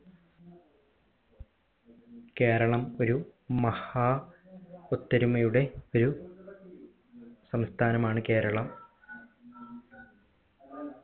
കേരളം ഒരു മഹാ ഒത്തൊരുമയുടെ ഒരു സംസ്ഥാനമാണ് കേരളം